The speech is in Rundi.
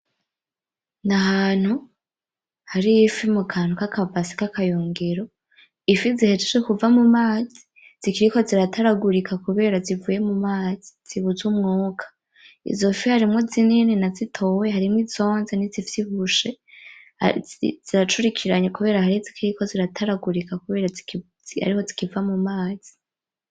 Ni ahantu hari ifi mu kantu kakabase kakayungiro, ifi zihejeje kuva mu mazi zikiriko ziratagurika kubera zivuye mu mazi zibuze umwuka, izofi harimwo zinini nazitoya harimwo izonze n'izivyibushe, ziracurikiranye kubera hari iziikiriko zirataragurika kubera ariho zikiva mu mazi.